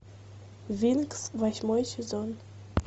винкс восьмой сезон